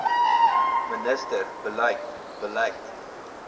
minister beleid beleid